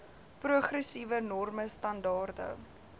progressiewe norme standaarde